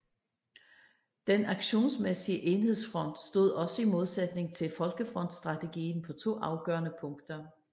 Den aktionsmæssige enhedsfront stod også i modsætning til folkefrontsstrategien på to afgørende punkter